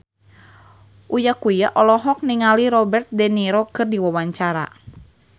Uya Kuya olohok ningali Robert de Niro keur diwawancara